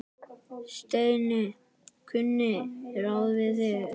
Steini kunni ráð við því.